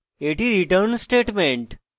এটি return statement